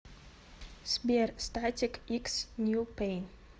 сбер статик икс нью пэйн